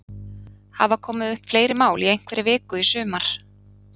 Hafa komið upp fleiri mál í einhverri viku í sumar?